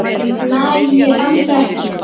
Nei, ég held ekki.